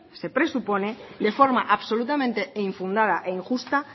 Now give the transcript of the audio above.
se presupone de forma absolutamente e infundada e injusta